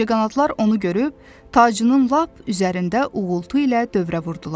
Ağcaqanadlar onu görüb, tacının lap üzərində uğultu ilə dövrə vurdular.